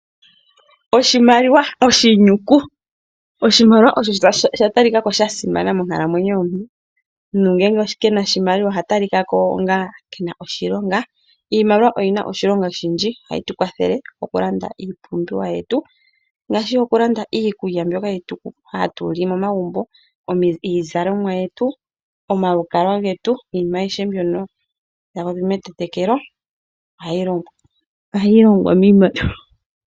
Oshimaliwa/ oshinyuku Oshimaliwa ,osho sha talika ko sha simana monkalamwenyo yomuntu. Omuntu ngele ke na oshimaliwa oha talika ko onga ke na oshilonga. Iimaliwa oyi na oshilonga oshindji. Ohayi tu kwathele okulanda iipumbiwa yetu ngaashi okulanda iikulya mbyoka hatu li momagumbo, iizalomwa yetu, omalukalwa getu. Iinima ayihe mbyoka nda popi metetekelo ohayi longwa miimaliwa.